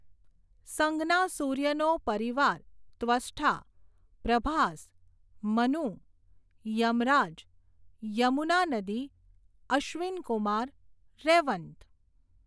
સંજ્ઞા સૂર્યનો પરિવાર ત્વષ્ઠા, પ્રભાસ, મનુ, યમરાજ, યમુના નદી, અશ્વિનકુમાર, રૈવન્ત.